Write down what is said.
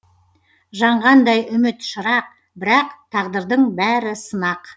жаңғандай үміт шырақ бірақ тағдырдың бәрі сынақ